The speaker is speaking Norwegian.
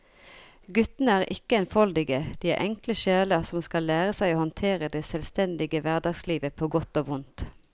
Guttene er ikke enfoldige, de er enkle sjeler som skal lære seg å håndtere det selvstendige hverdagslivet på godt og vondt.